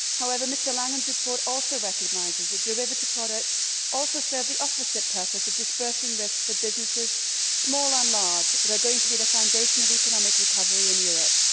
However, Mr Langen's report also recognises that derivative products also serve the opposite purpose of dispersing risks for businesses, small and large, which are going to be the foundation of economic recovery in Europe.